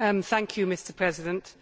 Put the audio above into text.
Mr President,